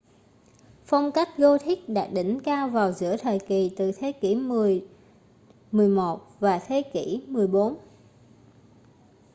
phong cách gothic đạt đỉnh cao vào giữa thời kỳ từ thế kỷ 10 - 11 và thế kỷ 14